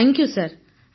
thank you sir